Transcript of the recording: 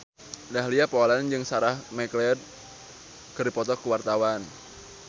Dahlia Poland jeung Sarah McLeod keur dipoto ku wartawan